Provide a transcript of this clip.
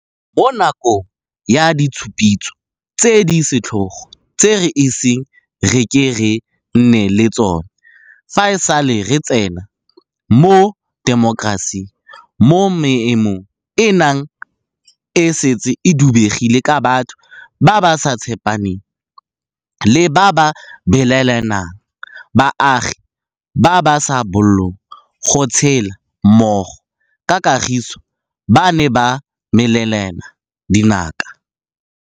Mo nakong ya ditshupetso tse di setlhogo tse re iseng re ke re nne le tsona fa e sale re tsena mo temokerasing, mo maemo a neng a setse a dubegile ka batho ba ba sa tshepaneng le ba ba belaelanang, baagi ba ba sa bolong go tshela mmogo ka kagiso ba ne ba melelana dinaka.